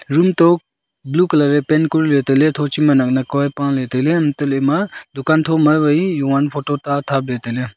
room to blue colour ye paint kuri ley tailey thochima naknak ka ye paley tailey hantoley ema dukaan thoma wai jovan photo ta tabley tailey.